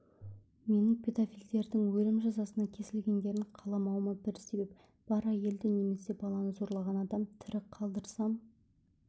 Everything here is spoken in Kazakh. менің педофилдердің өлім жазасына кесілгендерін қаламауыма бір себеп бар әйелді немесе баланы зорлаған адам тірі қалдырсам